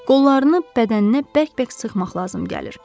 Qollarını bədəninə bərk-bərk sıxmaq lazım gəlir.